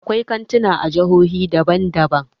Akwai kantuna a jihohi daban daban.